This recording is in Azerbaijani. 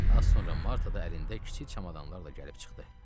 Az sonra Marta da əlində kiçik çamadanlarla gəlib çıxdı.